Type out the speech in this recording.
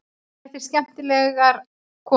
Þetta eru skemmtilegar konur.